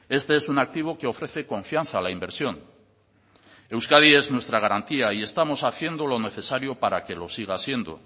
este es un activo que ofrece confianza a la inversión euskadi es nuestra garantía y estamos haciendo lo necesario para que lo siga siendo